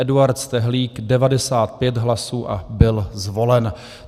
Eduard Stehlík 95 hlasů a byl zvolen.